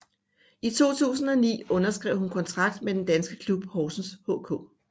I 2009 underskrev hun kontrakt med den danske klub Horsens HK